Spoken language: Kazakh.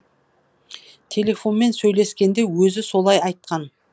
телефонмен сөйлескенде өзі солай айтқан